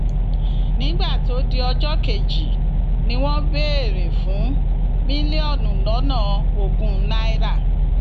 nígbà tó di ọjọ kejì ni wọn béèrè fún mílíọnù lọnà ogún náírà